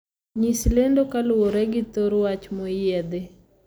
Nyis lendo kaluwore gi thor wach moyiedhi